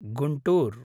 Guntur